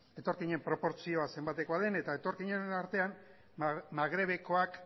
etorkinen proportzioa zenbatekoa den eta etorkinen artean magrebekoak